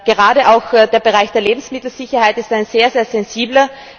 Gerade der Bereich der Lebensmittelsicherheit ist ein sehr, sehr sensibler.